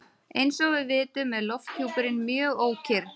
Eins og við vitum er lofthjúpurinn mjög ókyrr.